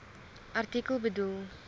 artikel bedoel